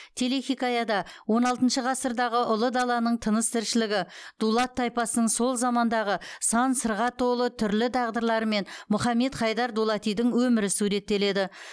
телехикаяда он алтыншы ғасырдағы ұлы даланың тыныс тіршілігі дулат тайпасының сол замандағы сан сырға толы түрлі тағдырлары мен мұхаммед хайдар дулатидың өмірі суреттеледі